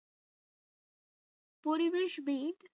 পরিবেশবিদ